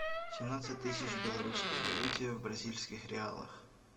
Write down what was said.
семнадцать тысяч в белорусской валюте в бразильских реалах